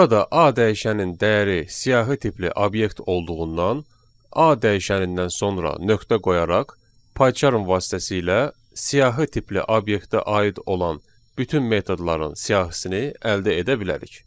Burada A dəyişənin dəyəri siyahı tipli obyekt olduğundan A dəyişənindən sonra nöqtə qoyaraq, PyCharm vasitəsilə siyahı tipli obyektə aid olan bütün metodların siyahısını əldə edə bilərik.